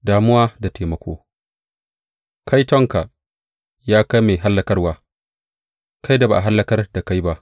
Damuwa da taimako Kaitonka, ya kai mai hallakarwa, kai da ba a hallakar da kai ba!